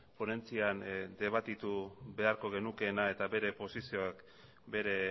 ponentzian debatitu beharko genukeena eta bere posizioak bere